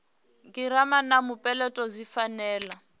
girama na mupeleto zwi fanela